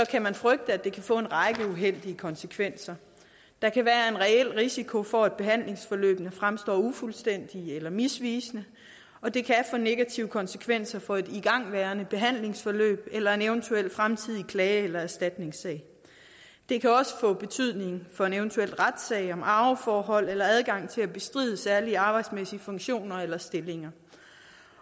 kan man frygte at det kan få en række uheldige konsekvenser der kan være en reel risiko for at behandlingsforløbene fremstår ufuldstændige eller misvisende og det kan få negative konsekvenser for et igangværende behandlingsforløb eller en eventuel fremtidig klage eller erstatningssag det kan også få betydning for en eventuel retssag om arveforhold eller adgang til at bestride særlige arbejdsmæssige funktioner eller stillinger